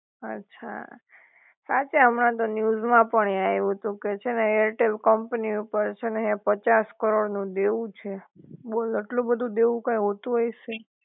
અછા, સાચે હમણાં તો ન્યુજ માં પણ એ આવ્યુ તું કે છે ને એરટેલ કંપની ઉપર છે ને હે પચાસ કરોડ નું દેવું છે, બોલ આટલું બધુ દેવું કાઈ હોતું હશે?